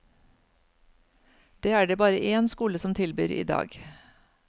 Det er det bare én skole som tilbyr i dag.